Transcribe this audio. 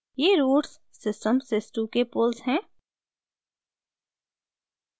ये roots system sys two के poles हैं